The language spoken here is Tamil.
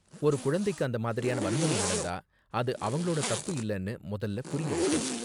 ஒரு குழந்தைக்கு அந்த மாதிரியான வன்முறை நடந்தா, அது அவங்களோட தப்பு இல்லன்னு முதல்ல புரிய வைக்கணும்,